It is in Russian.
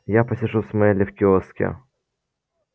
я посижу с мелли в киоске